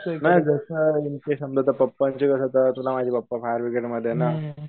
समजा आता पप्पांची कस पप्पा फायर ब्रिगेडमध्ये ना